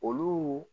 Olu